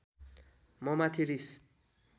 ममाथि रिस